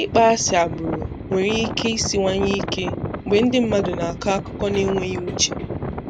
Ịkpọ asị agbụrụ nwere ike isinwaye ike mgbe ndị mmadụ n'akọ akụkọ n'enweghị uche.